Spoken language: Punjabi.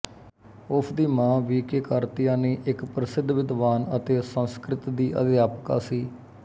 ਉਸਦੀ ਮਾਂ ਵੀ ਕੇ ਕਾਰਤੀਆਇਨੀ ਇੱਕ ਪ੍ਰਸਿੱਧ ਵਿਦਵਾਨ ਅਤੇ ਸੰਸਕ੍ਰਿਤ ਦੀ ਅਧਿਆਪਕਾ ਸੀ